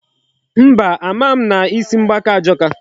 Mba, ama m na isi mgbaka ajọka.